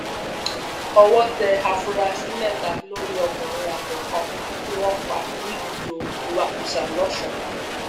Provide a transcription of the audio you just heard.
owó tẹ àfúrásì mẹta lórí ọkùnrin àgbẹ kan tí wọn pa níbùdó ìwakùsà lọsùn